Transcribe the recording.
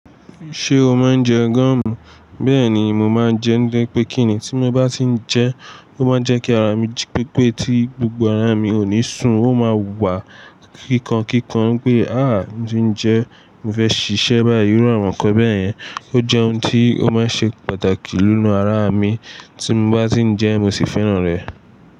Ṣé o máa ń jẹ gúọ̀mù? Bẹ́ẹ̀ ni mo máa ń jẹ, nitori pẹ́ kí ni tí mo bá ti ń jẹ, ó máa ń jẹ́ kí ara mi jí pépé tí gbogbo ara mi ò ní sùn ó máa wà kíkankíkan pé Ǹdí ó ń jẹ ẹ́". Mo fẹ́ ṣiṣẹ́ bá yi iru àwàn kọ́ bẹ́yẹn, ó jẹ́ ohun tí ó máa ń ṣe pàtàkì nínú ara mi. Tí mo bá ti ń jẹ ẹ́ mo sì fẹ́ràn rẹ̀.